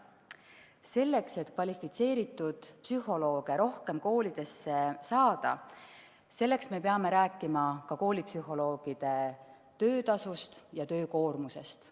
Selleks, et kvalifitseeritud psühholooge rohkem koolidesse saada, peame rääkima ka koolipsühholoogide töötasust ja töökoormusest.